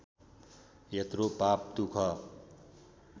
यत्रो पाप दुख